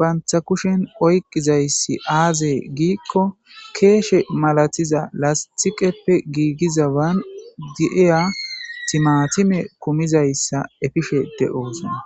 bantta kushen oykkidayssi aaze giikko keeshsh melatiya miishsha lastiqeppe giigiya miishshan timaatime ekkidi boosona.